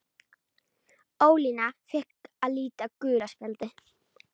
Ólína fékk að líta gula spjaldið.